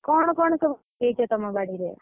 କଣ କଣ ସବୁ ହେଇଛ ତମ ବାଡିରେ?